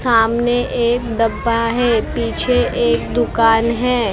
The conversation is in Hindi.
सामने एक डब्बा है पीछे एक दुकान हे उसके आगे--